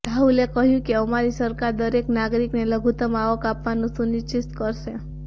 રાહુલે કહ્યુ કે અમારી સરકાર દરેક નાગરિકને લઘુત્તમ આવક આપવાનું સુનિશ્ચિત કરશે